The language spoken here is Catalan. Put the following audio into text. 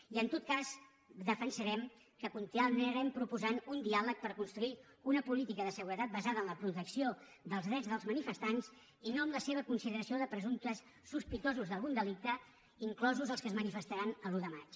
i en tot cas defensarem que continuarem proposant un diàleg per construir una política de seguretat basada en la protecció dels drets dels manifestants i no en la seva consideració de presumptes sospitosos d’algun delicte inclosos els que es manifestaran l’un de maig